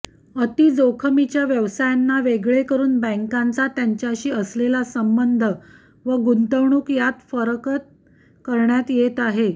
अतिजोखमीच्या व्यवसायांना वेगळे करून बँकांचा त्यांच्याशी असलेला संबंध व गुंतवणूक यात फारकत करण्यात येत आहे